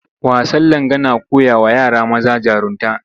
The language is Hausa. Wasan Langa na koyawa yara maza jarunta